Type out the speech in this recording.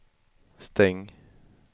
stäng